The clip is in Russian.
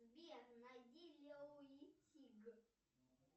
сбер найди лео и тиг